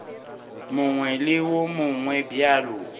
mongwe le wo mongwe bjalo